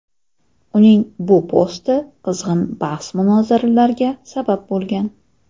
Uning bu posti qizg‘in bahs-munozaralarga sabab bo‘lgan.